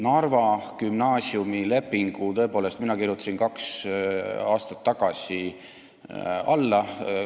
Narva gümnaasiumi lepingu kirjutasin tõepoolest mina kaks aastat tagasi alla.